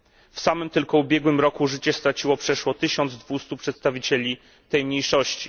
W samym tylko ubiegłym roku życie straciło przeszło 1200 przedstawicieli tej mniejszości.